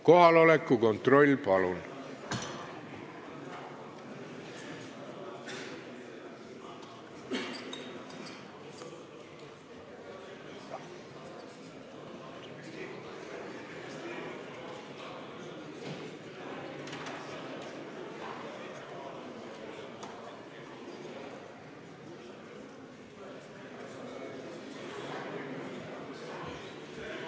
Kohaloleku kontroll, palun!